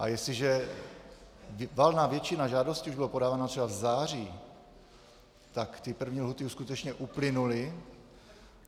A jestliže valná většina žádostí už byla podána třeba v září, tak ty první lhůty už skutečně uplynuly.